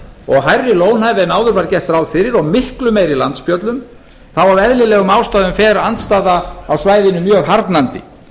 og hærri lónhæð en áður var gert ráð fyrir og miklu meiri landspjöllum þá af eðlilegum ástæðum fer andstaða á svæðinu mjög harðnandi